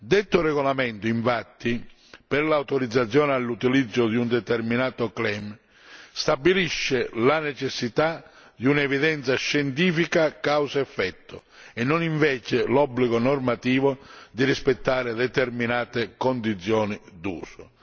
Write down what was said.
Detto regolamento infatti, per l'autorizzazione all'utilizzo di un determinato claim stabilisce la necessità di un'evidenza scientifica causa effetto e non invece l'obbligo normativo di rispettare determinate condizioni d'uso.